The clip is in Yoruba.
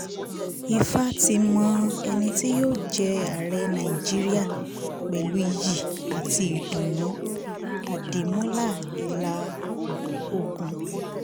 ìfà ti mọ ẹni tí yóò jẹ́ ààrẹ nàìjíríà pẹ̀lú iyì àti ìdùnnú - àdìmúlà ìlà ọ̀gùn